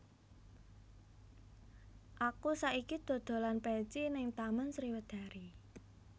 Aku saiki dodolan peci ning Taman Sriwedari